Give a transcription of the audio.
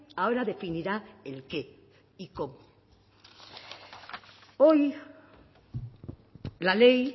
ahora definirá el qué y el cómo hoy la ley